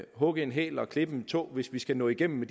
hugge en hæl og klippe en tå hvis vi skal nå igennem